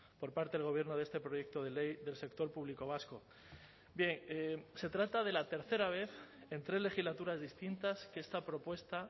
por parte del gobierno de este proyecto de ley del sector público vasco se trata de la tercera vez en tres legislaturas distintas que esta propuesta